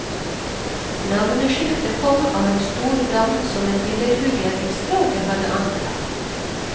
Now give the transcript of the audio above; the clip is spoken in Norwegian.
Navneskiftet kom av en stor dam som en billedhugger i strøket hadde anlagt.